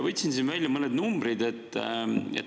Võtsin välja mõned numbrid.